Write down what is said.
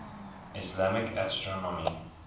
islamic astronomy